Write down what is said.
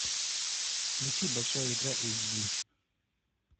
включи большая игра эйч ди